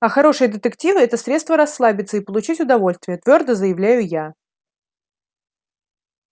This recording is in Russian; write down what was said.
а хорошие детективы это средство расслабиться и получить удовольствие твёрдо заявляю я